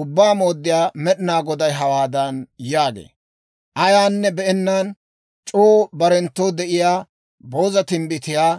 Ubbaa Mooddiyaa Med'inaa Goday hawaadan yaagee; Ayaanne be'ennaan c'oo barenttoo denddiyaa booza timbbitiyaa